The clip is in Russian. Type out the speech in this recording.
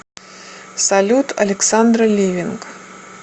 салют александра ливинг